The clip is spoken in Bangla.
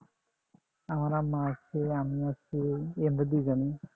আমার আম্মা আছে আমি আছি এই আমরা দুই জনই